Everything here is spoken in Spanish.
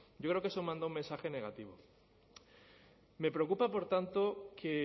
yo creo que eso manda un mensaje negativo me preocupa por tanto que